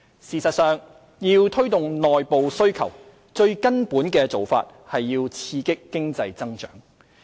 事實上，要推動內部需求，最根本的做法是刺激經濟增長。